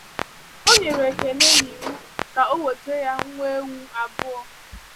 Ọ nyere Ekene n’iwu ka ọ weta ya nwa ewu abụọ.